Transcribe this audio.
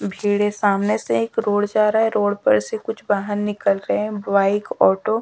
भीड़ है सामने से एक रोड जा रहा है रोड पर से कुछ वाहन निकल रहे हैं बाइक ऑटो --